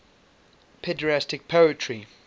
pederastic poetry